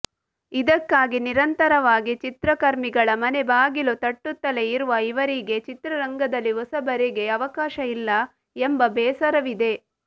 ಇದಕ್ಕಾಗಿ ನಿರಂತರವಾಗಿ ಚಿತ್ರಕರ್ಮಿಗಳ ಮನೆಬಾಗಿಲು ತಟ್ಟುತ್ತಲೇ ಇರುವ ಇವರಿಗೆ ಚಿತ್ರರಂಗದಲ್ಲಿ ಹೊಸಬರಿಗೆ ಅವಕಾಶ ಇಲ್ಲ ಎಂಬ ಬೇಸರವಿದೆ